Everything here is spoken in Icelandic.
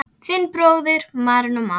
Þinn bróðir, Marinó Már.